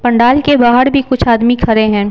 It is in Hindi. पंडाल के बाहर भी कुछ आदमी खड़े हैं।